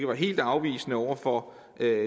var helt afvisende over for